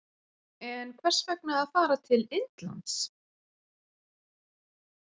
En hvers vegna að fara til Indlands?